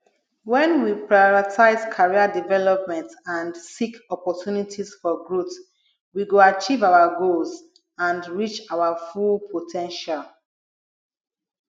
when we prioritize career development and seek opportunities for growth we go achieve our goals and reach our full po ten tial